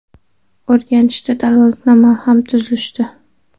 O‘rganishdi, dalolatnoma ham tuzishdi.